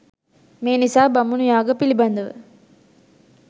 මේ නිසා බමුණු යාග පිළිබඳ ව